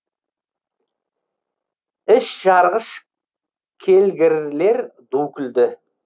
іш жарғыш келгірлер ду күлді